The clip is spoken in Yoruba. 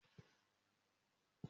Mo máa gba ẹ̀sìn "Hinduism" ni ọ̀la.